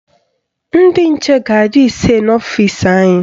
Ndị nche ga-adị ise n'ọfisi anyị